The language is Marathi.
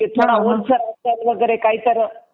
थोडं ओलसर वगैरे असेल काहीतर तर